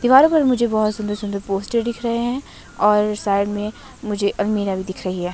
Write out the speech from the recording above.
दीवारों पर मुझे बहोत सुंदर सुंदर पोस्टर दिख रहे हैं और साइड में मुझे अलमीरा भी दिख रही है।